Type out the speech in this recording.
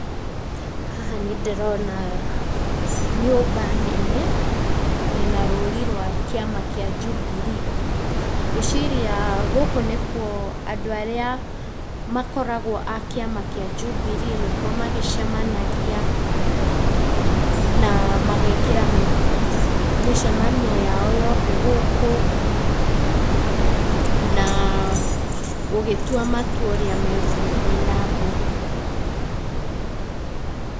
Haha nĩndĩrona nyũmba nene ĩna rũri rwa kĩama kĩa Jubilee. Ngũĩciria gũkũ nĩkuo andũ arĩa, makoragwo a kĩama kĩa Jubilee nĩkuo magĩcemanagia, na magekĩra mĩcemanio yao yothe gũkũ, na gũgĩtua matua ũrĩa megĩgũthiĩ nambere.